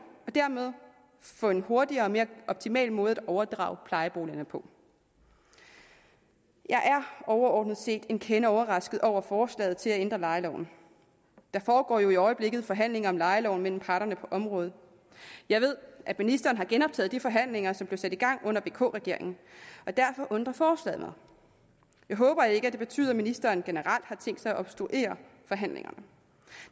og dermed få en hurtigere og mere optimal måde at overdrage plejeboligerne på jeg er overordnet set en kende overrasket over forslaget til at ændre lejeloven der foregår jo i øjeblikket forhandlinger om lejeloven mellem parterne på området jeg ved at ministeren har genoptaget de forhandlinger som blev sat i gang under vk regeringen og derfor undrer forslaget mig jeg håber ikke at det betyder at ministeren generelt har tænkt sig at obstruere forhandlingerne